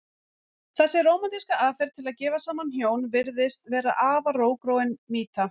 Þessi rómantíska aðferð til að gefa saman hjón virðist vera afar rótgróin mýta.